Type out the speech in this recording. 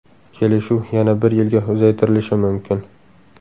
Kelishuv yana bir yilga uzaytirilishi mumkin.